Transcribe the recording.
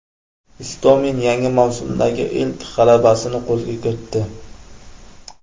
Istomin yangi mavsumdagi ilk g‘alabasini qo‘lga kiritdi.